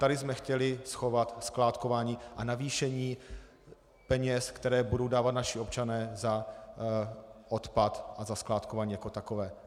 Tady jsme chtěli schovat skládkování a navýšení peněz, které budou dávat naši občané za odpad a za skládkování jako takové.